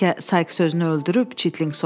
“Bəlkə Sayks özünü öldürüb?”